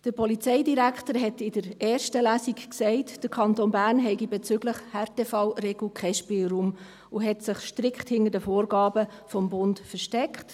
Der Polizeidirektor hat in der ersten Lesung gesagt, der Kanton Bern habe bezüglich Härtefallregel keinen Spielraum, und hat sich strikt hinter den Vorgaben des Bundes versteckt.